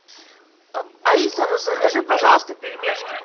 алиса закажи пожалуйста пельмешки